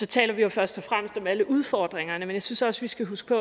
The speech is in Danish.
taler vi jo først og fremmest om alle udfordringerne men jeg synes også vi skal huske